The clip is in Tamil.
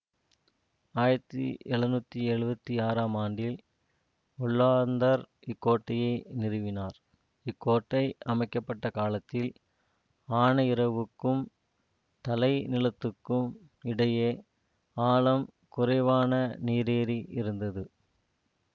ஆயிரத்தி எழுநூற்றி எழுவத்தி ஆறாம் ஆண்டில் ஒல்லாந்தர் இக்கோட்டையை நிறுவினார் இக்கோட்டை அமைக்க பட்ட காலத்தில் ஆனையிறவுக்கும் தலை நிலத்துக்கும் இடையே ஆழம் குறைவான நீரேரி இருந்தது